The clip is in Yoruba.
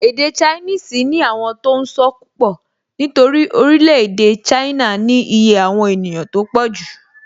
Èdè ṣainíìsì ní àwọn tó n sọ́ púpọ̀ nítorí orílẹ̀-èdè ṣáínà ní iye àwọn ènìyàn tó pọ̀jù